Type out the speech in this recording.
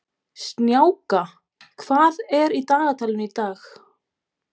Snjáka, hvað er í dagatalinu í dag?